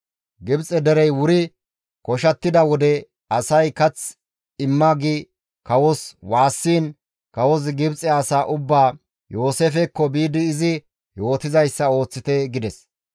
Gibxe derey wuri koshattida wode asay, «Kath imma» gi kawos waassiin kawozi Gibxe asaa ubbaa, «Yooseefekko biidi izi yootizayssa ooththite» gides.